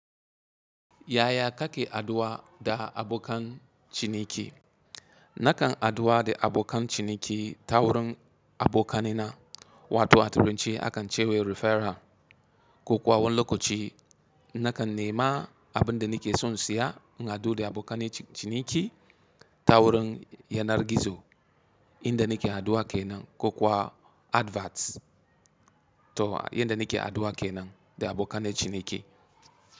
Yaya kake addu'a da abokan ciniki? Nakan addu'a da abokan ciniki ta wurin abokanina, wato a turanci a kan ce wai referral. Kokuwa wani lokaci nakan nema abun da nake so in siya, in haɗu da abokane ci-- ciniki ta wurin yanar gizo, inda nake haduwa kenan kokawa adverts to inda nake aduwa kenan da abokanen ciniki.